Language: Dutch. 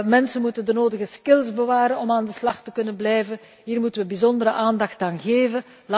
Mensen moeten de nodige skills bewaren om aan de slag te kunnen blijven. Hier moeten wij bijzondere aandacht aan geven.